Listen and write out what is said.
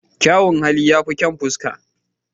Kyan hali ya fi kyan fuska